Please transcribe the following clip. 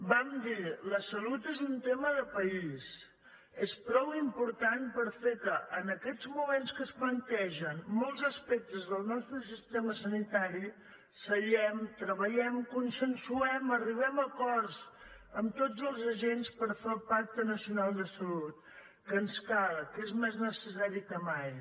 vam dir la salut és un tema de país és prou important per fer que en aquests moments en què es plantegen molts aspectes del nostre sistema sanitari seguem treballem consensuem arribem a acords amb tots els agents per fer el pacte nacional de salut que ens cal que és més necessari que mai